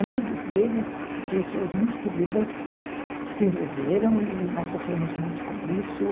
Amigos deles, pessoas muito queridas, se envolveram e nós sofremos muito com isso.